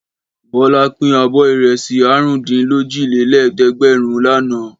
Bọ́lá pín abọ́ ìrẹsì àrùndínlójìlélẹ́ẹ̀dẹ́gbẹ̀rún lánàá.